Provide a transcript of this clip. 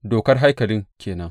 Dokar haikalin ke nan.